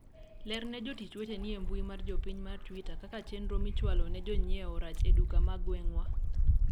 lerne jotich weteni e mbui mar jopiny mar twita kaka chenro michwalo ne jonyiewo rach e duka ma gweng'wa